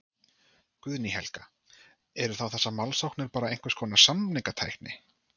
Guðný Helga: Eru þá þessar málsóknir þá bara einhvers konar samningatækni?